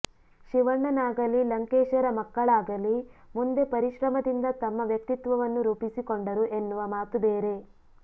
ಶಿವಣ್ಣನಾಗಲಿ ಲಂಕೇಶರ ಮಕ್ಕಳಾಗಲಿ ಮುಂದೆ ಪರಿಶ್ರಮದಿಂದ ತಮ್ಮ ವ್ಯಕ್ತಿತ್ವವನ್ನು ರೂಪಿಸಿಕೊಂಡರು ಎನ್ನುವ ಮಾತು ಬೇರೆ